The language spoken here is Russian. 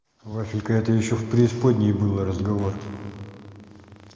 вафелька это ещё в преисподней было разговор